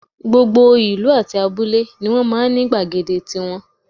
Gbogbo ìlú àti abúlé ni wọ́n máa ń ní gbàgede tiwọn